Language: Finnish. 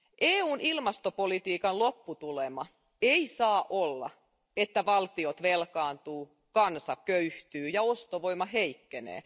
EUn ilmastopolitiikan lopputulema ei saa olla, että valtiot velkaantuvat, kansa köyhtyy ja ostovoima heikkenee.